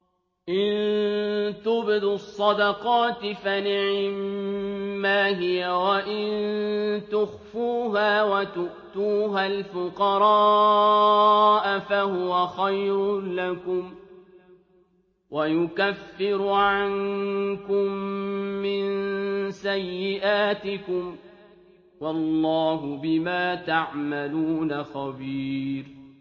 إِن تُبْدُوا الصَّدَقَاتِ فَنِعِمَّا هِيَ ۖ وَإِن تُخْفُوهَا وَتُؤْتُوهَا الْفُقَرَاءَ فَهُوَ خَيْرٌ لَّكُمْ ۚ وَيُكَفِّرُ عَنكُم مِّن سَيِّئَاتِكُمْ ۗ وَاللَّهُ بِمَا تَعْمَلُونَ خَبِيرٌ